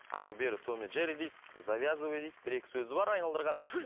әрі бері том и джерри дейді завязывай дейді бір екі сөзі бар айналдырған